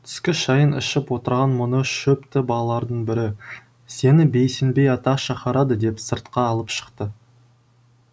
түскі шайын ішіп отырған мұны шөпті балалардың бірі сені бейсенбей ата шақырады деп сыртқа алып шықты